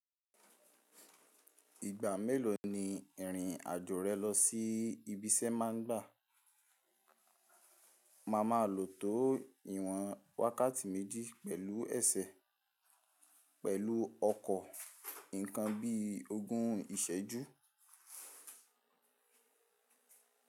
Ìgbà mélòó ni ìrìn àjò rẹ lọ sí ibi iṣẹ́ má ń gbà? Máa má lò tó ìwọ̀n wákàtí méjì pẹ̀lú ẹsẹ̀, pẹ̀lú ọkọ̀, ǹkan bí i ogún ìsẹ́jú.